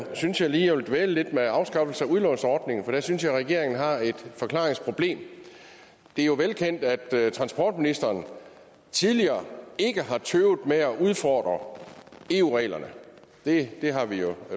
synes jeg lige jeg vil dvæle lidt ved afskaffelsen af udlånsordningen for der synes jeg at regeringen har et forklaringsproblem det er jo velkendt at transportministeren tidligere ikke har tøvet med at udfordre eu reglerne det har vi jo